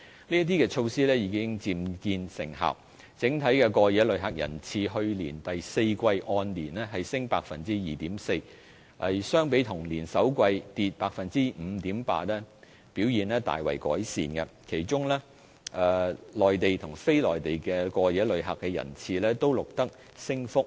這些措施已漸見成效，整體過夜旅客人次去年第四季按年升 2.4%， 相比同年首季跌 5.8%， 表現大為改善；其中內地及非內地過夜旅客的人次均錄得升幅。